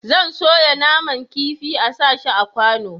zan soya naman kafin a sa shi a kwano